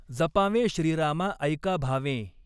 जपावॆं श्रीरामा ऎका भावॆं.